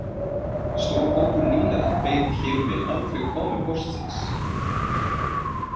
Stór hópur nýliða beið hér um bil aldrei komu póstsins